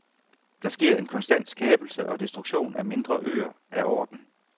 Der sker en konstant skabelse og destruktion af mindre øer af orden.